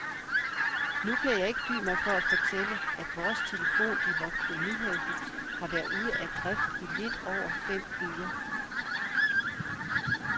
Nu kan jeg ikke dy mig for at fortælle, at vores telefon i vort kolonihavehus har været ude af drift i lidt over fem uger.